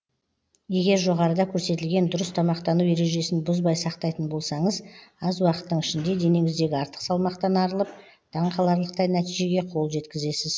егер жоғарыда көрсетілген дұрыс тамақтану ережесін бұзбай сақтайтын болсаңыз аз уақыттың ішінде денеңіздегі артық салмақтан арылып таңқаларлықтай нәтижеге қол жеткізесіз